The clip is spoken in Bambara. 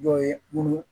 Dɔ ye munnu